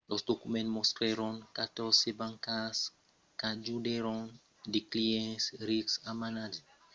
los documents mostrèron catòrze bancas qu'ajudèron de clients rics a amagar de miliards de dolars americans de fortuna per evitar los impòstes e d'autras regulacions